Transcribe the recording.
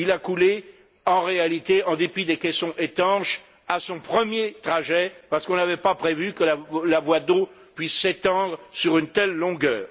Il a coulé en réalité, en dépit des caissons étanches, à son premier trajet, parce qu'on n'avait pas prévu que la voie d'eau puisse s'étendre sur une telle longueur.